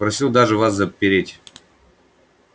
просил даже вас запереть